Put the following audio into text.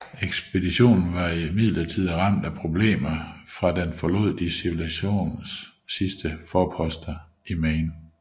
Ekspeditionen var imidlertid ramt af problemer fra den forlod de civilisationens sidste forposter i Maine